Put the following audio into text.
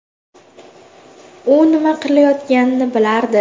U nima qilayotganini bilardi.